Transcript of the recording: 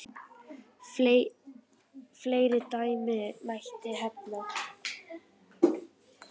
Fleiri dæmi mætti nefna.